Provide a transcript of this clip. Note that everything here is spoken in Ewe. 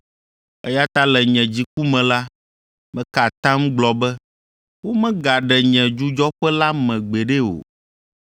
Eya ta le nye dziku me la, meka atam gblɔ be, ‘Womage ɖe nye dzudzɔƒe la me gbeɖe o.’ ”